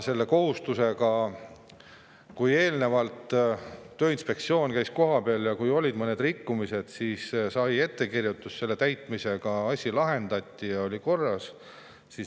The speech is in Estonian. Eelnevalt Tööinspektsioon käis kohapeal ja kui olid mõned rikkumised, siis ettekirjutuste täitmisega asi lahendati ja kõik oli korras.